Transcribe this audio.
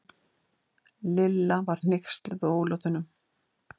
Lilla var hneyksluð á ólátunum.